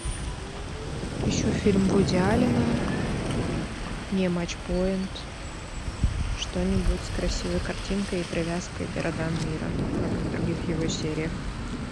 ищу фильм вуди аллена не матч поинт что нибудь с красивой картинкой и привязкой к городам мира как и в других его сериях